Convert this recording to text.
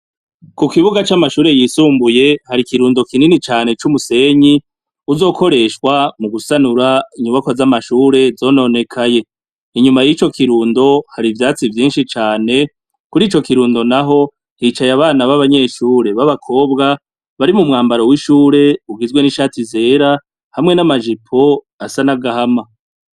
Ku kibuga c'amashure yisumbuye hari kirundo kinini cane c'umusenyi. Uzokoreshwa mu gusanura inyubako z'amashure zononekaye ,inyuma y'ico kirundo hari ivyatsi vyinshi cane kuri ico kirundo naho hicaye abana b'abanyeshure b'abakobwa bari mu mwambaro w'ishure ugizwe n'ishati zera hamwe n'amajipo asa n'agahama.